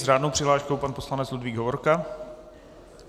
S řádnou přihláškou pan poslanec Ludvík Hovorka.